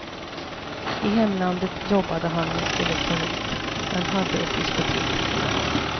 I hemlandet jobbade han med elektronik men hade ett diskotek vid sidan om.